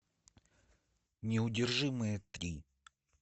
неудержимые три